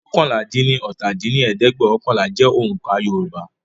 oókànlá-dín-ní-ọ́ta dín ní ẹ̀ẹ́dẹ́gbẹ́ọ̀kànlá jẹ́ oǹkà Yoruba